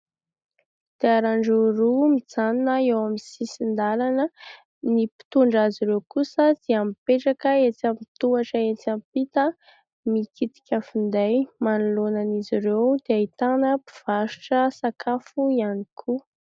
Kodiaran-droa mijanona eo amin'ny sisin-dalana, ny mpitondra azy ireo kosa dia mipetraka etsy amin'ny tohatra etsy ampita mikitika finday, manoloana an'izy ireo dia ahitana mpivarotra sakafo ihany koa.